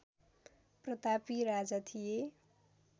प्रतापी राजा थिए